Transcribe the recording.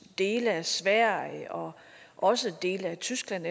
dele af sverige og også dele af tyskland